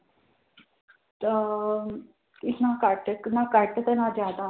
ਤਾਂ ਇੱਕ ਨਾ ਘੱਟ ਇੱਕ ਨਾ ਘੱਟ ਤੇ ਨਾ ਜ਼ਿਆਦਾ